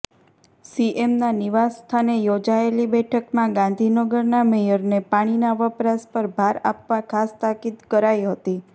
સીએમના નિવાસસ્થાને યોજાયેલી બેઠકમાં ગાંધીનગરના મેયરને પાણીના વપરાશ પર ભાર આપવા ખાસ તાકીદ કરાઈ હતી